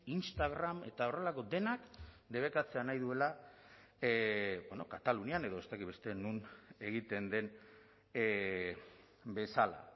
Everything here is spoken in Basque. instagram eta horrelako denak debekatzea nahi duela bueno katalunian edo ez dakit beste non egiten den bezala